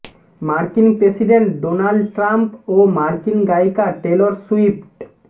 মার্কিন president Donald Trump ও মার্কিন গায়িকা টেলর সুইফট